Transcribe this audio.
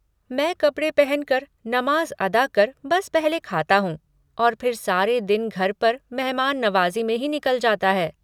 मैं कपड़े पहन कर, नमाज़ अदा कर बस पहले खाता हूँ और फिर सारे दिन घर पर मेहमान नवाज़ी में ही निकल जाता है।